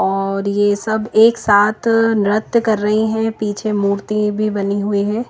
और ये सब एक साथ नृत्य कर रही हैं पीछे मूर्ति भी बनी हुई है।